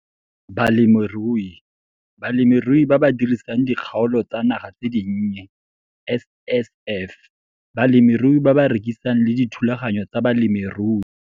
Balemirui - Balemirui ba ba dirisang dikgaolo tsa naga tse dinnye, SSF, balemirui ba ba rekisang le dithulaganyo tsa balemirui.